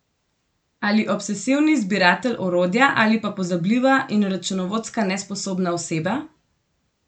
Ali obsesivni zbiratelj orodja ali pa pozabljiva in računovodsko nesposobna oseba?